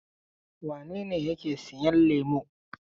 Wane ne yake sayan lemo?